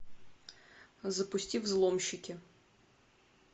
запусти взломщики